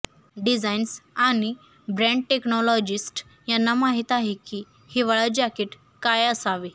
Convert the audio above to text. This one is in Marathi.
डिझाइन्स आणि ब्रँड टेक्नॉलॉजिस्ट यांना माहित आहे की हिवाळा जाकीट काय असावे